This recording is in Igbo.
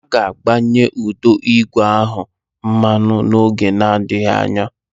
A ga-agbanye ụdọ ígwè ahụ mmanụ n'oge adịghị anya.